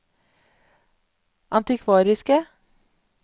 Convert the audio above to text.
antikvariske